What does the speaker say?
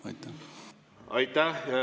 Aitäh!